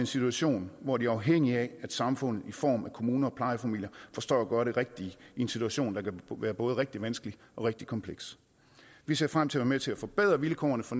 situation hvor de er afhængige af at samfundet i form af kommuner og plejefamilier forstår at gøre det rigtige i en situation der kan være både rigtig vanskelig og rigtig kompleks vi ser frem til at være med til at forbedre vilkårene for